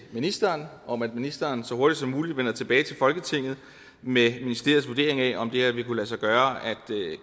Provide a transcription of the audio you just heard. ministeren om at ministeren så hurtigt som muligt vender tilbage til folketinget med ministeriets vurdering af om det her vil kunne lade sig gøre at